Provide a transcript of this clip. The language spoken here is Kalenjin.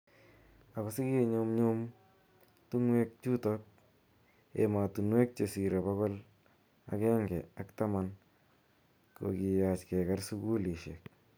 Ako siki nyumnyum ako tungwek chutok , Ematunuek che sire pokil ake nge ak tamanu kokiyach keker sukulishek.